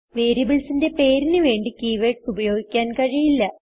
വേരിയബിൾസിന് പേരിന് വേണ്ടി കീവേർഡ്സ് ഉപയോഗിക്കാൻ കഴിയില്ല